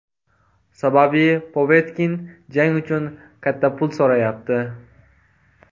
Sababi Povetkin jang uchun katta pul so‘rayapti.